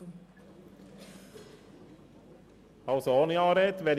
Kommissionspräsident der FiKo.